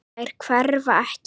Þær hverfa ekki.